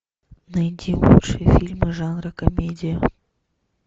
найди лучшие фильмы жанра комедия